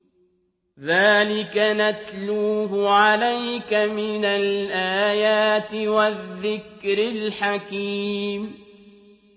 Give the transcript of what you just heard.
ذَٰلِكَ نَتْلُوهُ عَلَيْكَ مِنَ الْآيَاتِ وَالذِّكْرِ الْحَكِيمِ